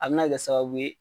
A bɛna kɛ sababu ye